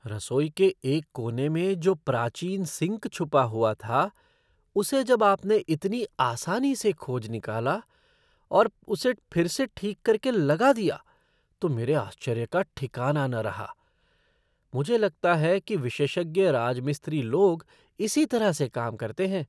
रसोई के एक कोने में जो प्राचीन सिंक छुपा हुआ था उसे जब आपने इतनी आसानी से खोज निकाला और उसे फिर से ठीक करके लगा दिया तो मेरे आश्चर्य का ठिकाना न रहा। मुझे लगता है कि विशेषज्ञ राजमिस्त्री लोग इसी तरह से काम करते हैं।